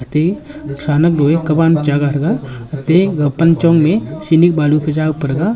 atte thrahnak doye kaban chaga thraga atte ga panchong me cenik balu phai jawpa thaga.